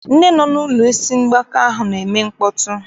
Ndị nọ n'ụlọ ndị isi mgbaka ahụ na-eme mkpọtụ.